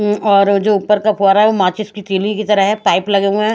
उम और जो ऊपर का फोआरा है वो माचिस की तरह है पाइप लगे हुए है।